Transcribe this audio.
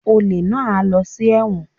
Olè náà á lọ sí ẹ̀wọ̀n